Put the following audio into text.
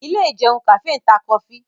Ilé ìjẹun kàfé ń ta kọfí